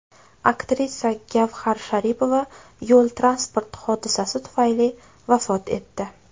Aktrisa Gavhar Sharipova yo‘l transport hodisasi tufayli vafot etdi .